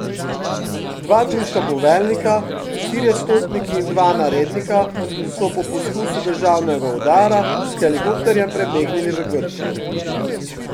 Dva turška poveljnika, štirje stotniki in dva narednika so po poskusu državnega udara s helikopterjem prebegnili v Grčijo.